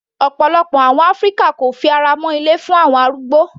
Ọ̀pọ̀lọpọ̀ àwọn ilé áfíríkà kò fi ara mọ́ ilé fún àwọn arúgbó.